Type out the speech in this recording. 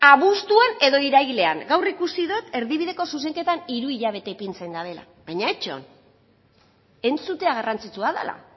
abuztuan edo irailean gaur ikusi dot erdibideko zuzenketan hiru hilabete ipintzen dutela baina itxoin entzutea garrantzitsua dela